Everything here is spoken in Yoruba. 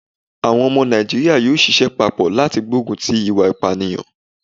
Àwọn omo Nàìjíríà yóò sisẹ́ papọ̀ láti gbógun ti ìwà ìpànìyàn